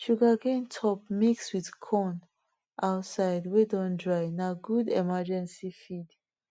sugarcane top mix with corn outside way don dry na good emergency feed